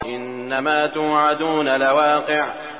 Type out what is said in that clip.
إِنَّمَا تُوعَدُونَ لَوَاقِعٌ